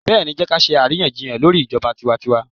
Bẹ́ẹ̀ni, Jẹ́ kí á ṣe àríyànjiyàn lórí ijọba tiwantiwa.